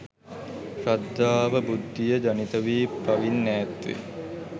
ශ්‍රද්ධාව, බුද්ධිය ජනිතවී පවින් ඈත්වේ.